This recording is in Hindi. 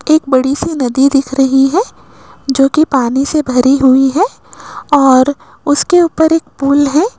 एक बड़ी सी नदी दिख रही है जो की पानी से भरी हुई है और उसके ऊपर एक पूल है।